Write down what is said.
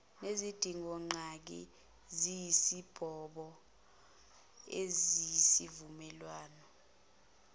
nezidingongqangi eziyisibopho sesivumelwano